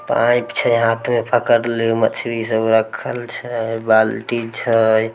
Pipe छै हाथ में पकड़ले मछली सब रखल छै बाल्टी छै।